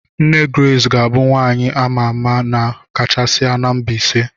Nne Grace ga-abụ nwaanyị a ma ama kachasị na Mbaise.